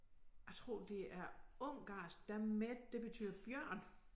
Jeg tror det er ungarsk der med det betyder bjørn